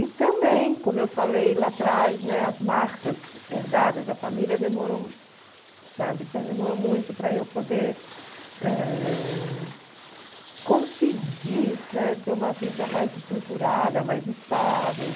E também, como eu falei lá atrás, as marcas herdadas da família demorou sabe demorou muito para eu poder ãh conseguir, né, ter uma vida mais estruturada, mais estável.